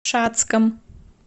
шацком